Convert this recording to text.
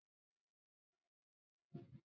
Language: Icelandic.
Ég lít fljótt af honum.